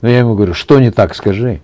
ну я ему говорю что не так скажи